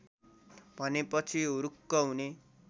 भनेपछि हुरुक्क हुने